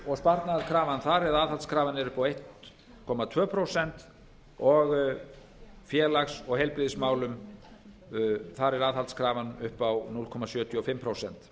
og sparnaðarkrafa þar eða aðhaldskrafan er upp á einum komma tvö prósent og í félags og heilbrigðismálum þar er aðhaldskrafan upp á núll komma sjötíu og fimm prósent